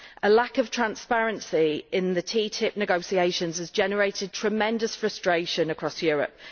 A lack of transparency in the TTIP negotiations has generated tremendous frustration across Europe